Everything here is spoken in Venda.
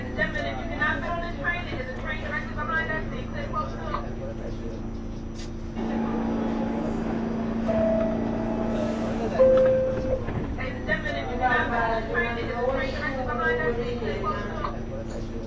vhuvhambadzi na nḓowetshumo vhulimi na